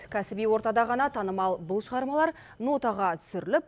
кәсіби ортада ғана танымал бұл шығармалар нотаға түсіріліп